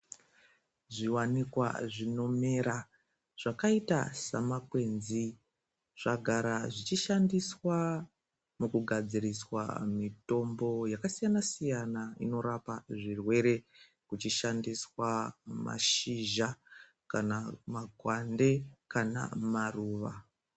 Zvivanikwa zvinomera zvakaita semakwenzi zvagara zvichishandiswa mukugadziriswa mitombo yakasiyana-siyana. Inorapa zvirwere kuchishandiswa mashizha kana makwande kana maruva.